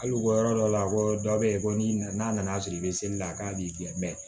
Hali u ka yɔrɔ dɔ la ko dɔ be yen ko n'i na n'a nana sɔrɔ i be seli la k'a b'i filɛ mɛ